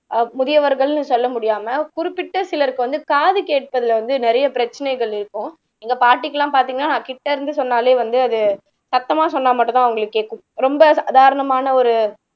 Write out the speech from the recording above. அஹ் முதியவர்கள்ன்னு சொல்ல முடியாம குறிப்பிட்ட சிலருக்கு வந்து காது கேட்பதுல வந்து நிறைய பிரச்சனைகள் இருக்கும் எங்க பாட்டிக்கு எல்லாம் பாத்தீங்கன்னா கிட்ட இருந்து சொன்னாலே வந்து அது சத்தமா சொன்னா மட்டும்தான் அவங்களுக்கு கேக்கும் ரொம்ப சாதாரணமான ஒரு